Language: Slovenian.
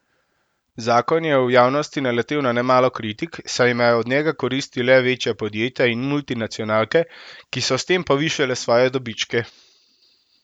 Zakon je v javnosti naletel na nemalo kritik, saj imajo od njega koristi le večja podjetja in multinacionalke, ki so s tem povišale svoje dobičke.